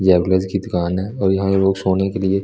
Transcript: जैबल गीत गान है और यहां लोग सोने के लिए--